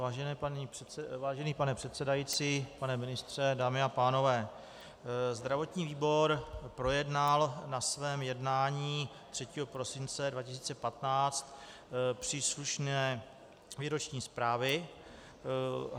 Vážený pane předsedající, pane ministře, dámy a pánové, zdravotní výbor projednal na svém jednání 3. prosince 2015 příslušné výroční zprávy.